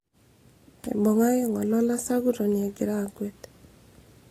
eibung'aki ngole olasakutoni egira akwet